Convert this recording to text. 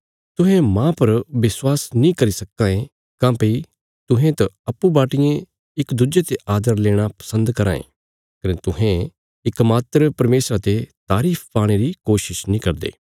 तुहें माह पर विश्वास नीं करी सक्कां ये काँह्भई तुहें त अप्पूँ बाटियें इक दुज्जे ते आदर लेणा पसन्द कराँ ये कने तुहें इकमात्र परमेशरा ते तारीफ पाणे री कोशिश नीं करदे